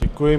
Děkuji.